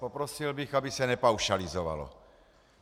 Poprosil bych, aby se nepaušalizovalo.